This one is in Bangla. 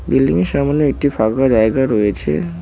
বিল্ডিংয়ের সামনে একটি ফাঁকা জায়গা রয়েছে।